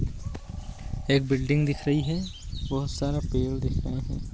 एक बिल्डिंग दिख रही है बहुत सारा पेड़ दिख रहे हैं।